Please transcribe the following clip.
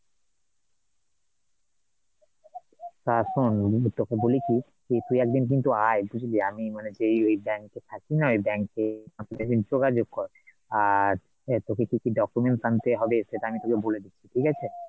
তা শোন আমি কিন্তু তোকে বলি কি যে তুই একদিন কিন্তু আয় বুঝলি, আমি মানে যেই ওই bank এ থাকি না ওই bank এ আমার সাথে যোগাযোগ কর, আর তোকে কি কি documents আনতে হবে সেটা আমি তোকে বলে দিচ্ছি ঠিক আছে ,